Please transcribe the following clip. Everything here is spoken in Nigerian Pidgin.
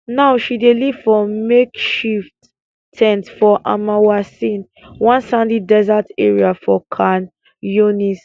now she dey live for makeshift ten t for almawasi one sandy desert area for khan younis